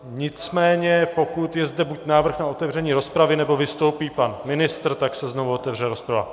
Nicméně pokud je zde buď návrh na otevření rozpravy, nebo vystoupí pan ministr, tak se znovu otevře rozprava.